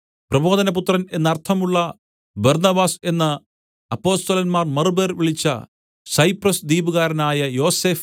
പ്രബോധനപുത്രൻ എന്ന് അർത്ഥമുള്ള ബർന്നബാസ് എന്ന് അപ്പൊസ്തലന്മാർ മറുപേർ വിളിച്ച സൈപ്രസ് ദ്വീപുകാരനായ യോസഫ്